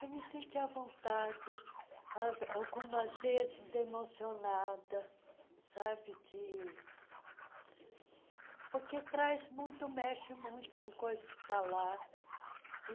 Eu me senti à vontade, algumas vezes emocionada, sabe, de... porque traz muito, mexe muito com coisa que está lá e